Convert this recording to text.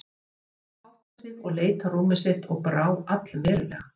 Hann byrjaði að hátta sig og leit á rúmið sitt og brá allverulega.